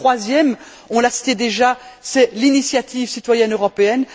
Et le troisième, on l'a cité déjà, c'est l'initiative citoyenne européenne.